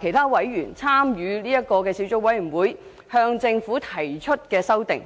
其他小組委員會委員和我向政府提出的修訂。